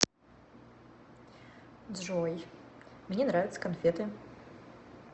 джой мне нравятся конфеты